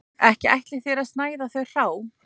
Ekki ætlið þér að snæða þau hrá